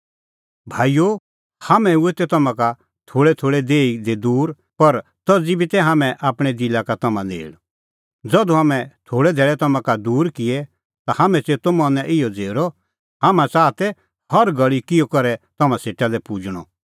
भाईओ हाम्हैं हुऐ तै तम्हां का थोल़ै धैल़ै देही दी दूर पर तज़ी बी तै हाम्हैं आपणैं दिला का तम्हां नेल़ ज़धू हाम्हैं थोल़ै धैल़ै तम्हां का दूर किऐ ता हाम्हैं च़ेतअ मनैं इहअ झ़ेरअ हाम्हैं च़ाहा तै हर घल़ी किहअ करै तम्हां सेटा पुजणअ